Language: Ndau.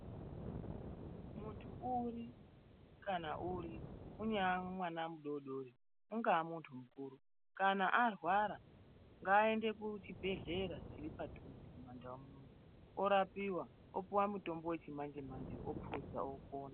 Munthu uri kana uri, unyaa mwana mudoodori ungaa muntu mukuru kana arwara ngaaende kuchibhehlera chiri padzuze mumandau muno orapiwa opuwa mitombo wechimanje manje opuza opona.